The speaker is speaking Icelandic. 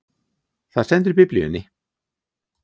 Það stendur í biblíunni!